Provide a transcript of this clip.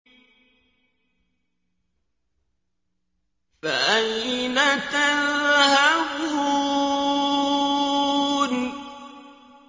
فَأَيْنَ تَذْهَبُونَ